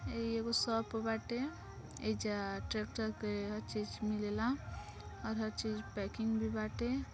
ई एगो शॉप बाटे एजा ट्रेक्टर के हर चीज मिलेला और हर चीज पैकिंग भी बाटे।